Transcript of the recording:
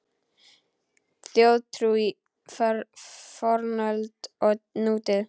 Þjóðtrú í fornöld og nútíð